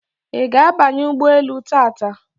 Iga abanye ugboelu taata?